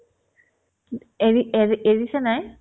কিন্তু এৰি এৰি এৰিছেনে নাই